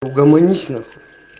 угомонись нахуй